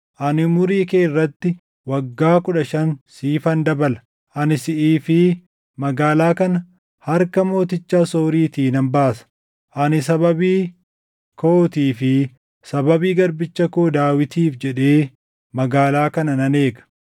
Ani umurii kee irratti waggaa kudha shan siifan dabala. Ani siʼii fi magaalaa kana harka mooticha Asooriitii nan baasa. Ani sababii kootii fi sababii garbicha koo Daawitiif jedhee magaalaa kana nan eega.’ ”